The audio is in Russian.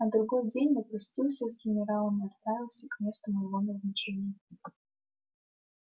на другой день я простился с генералом и отправился к месту моего назначения